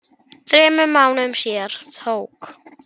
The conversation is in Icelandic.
Þetta er gott fólk.